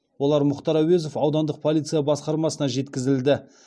олар мұқтар әуезов аудандық полиция басқармасына жеткізілді